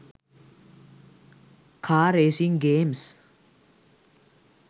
car racing games